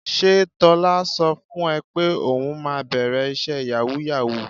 Ṣé Tọ́lá sọ fún ẹ pé òun máa bẹ̀rẹ̀ iṣẹ́ yàwúù-yàwúù?